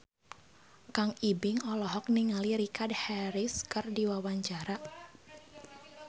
Kang Ibing olohok ningali Richard Harris keur diwawancara